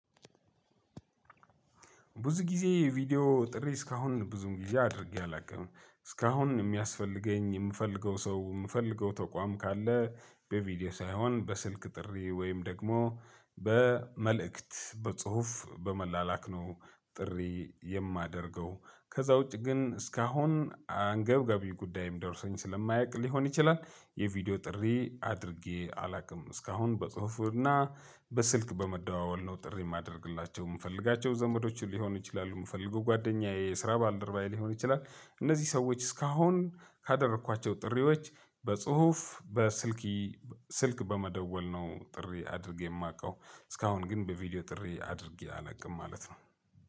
ብዙ ጊዜ ቪዲዮ ጥሪ እስካሁን ብዙም ጊዜ አድርጌ አላውቅም እስካሁን የሚያስፈልገኝ የምፈልገው ሰው የምፈልገው ተቋም ካለ በቪዲዮ ሳይሆን በስልክ ጥሪ ወይም ደግሞ በመልእክት በጽሁፍ በመላላክ ነው። ጥሪ የማደርገው ከዛ ውጪ ግን እስካሁን አንገብጋቢ ጉዳይም ደርሶኝ ስለማያውቅ ሊሆን ይችላል። የቪዲዮ ጥሪ አድርጌ አላውቅም እስካሁን በጽሁፍ እና በስልክ በመደዋወል ነው ጥሪ የማደርግላቸው የምፈልጋቸው ዘመዶች ሊሆኑ ይችላሉ የምፈልገው ጓደኛዬ የስራ ባልደረባዬ ሊሆን ይችላል። እነዚህ ሰዎች እስካሁን ካደረኳቸው ጥሪዎች በጽሁፍ በስልክ ስልክ በመደወል ነው ጥሪ አድርጌ የማውቀው። እስካሁን ግን በቪዲዮ ጥሪ አድርጌ አላውቅም ማለት ነው።